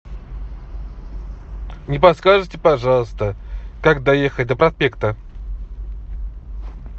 не подскажете пожалуйста как доехать до проспекта